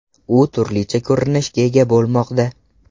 U turlicha ko‘rinishga ega bo‘lmoqda.